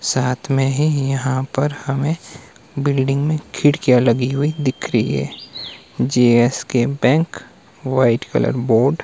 साथ में ही यहां पर हमें बिल्डिंग में खिड़कियां लगी हुई दिख री है GSK bank white colour board --